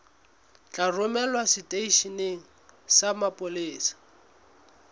tla romelwa seteisheneng sa mapolesa